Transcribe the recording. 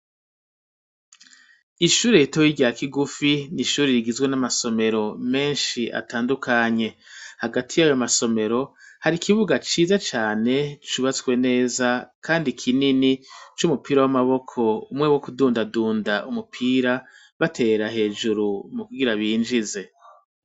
Ishuri ritoyi rya Kigufi nishuri rigizwe n'amasomero menshi atandukanye hagati y'ayo masomero hari ikibuga ciza cane cubatswe neza kandi kinini cy'umupira w'amaboko umwe wo kudundadunda umupira batera hejuru mu kugira binjize.